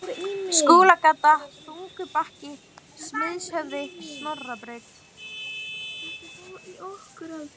Skúlagata, Tungubakki, Smiðshöfði, Snorrabraut